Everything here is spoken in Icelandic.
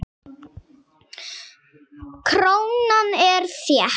Krónan er þétt.